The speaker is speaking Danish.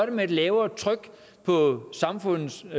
det med et lavere tryk på samfundets og